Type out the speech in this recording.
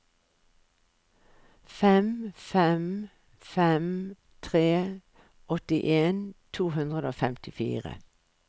fem fem fem tre åttien to hundre og femtifire